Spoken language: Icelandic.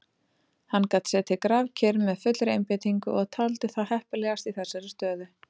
Hann gat setið grafkyrr með fullri einbeitingu og taldi það heppilegast í þessari stöðu.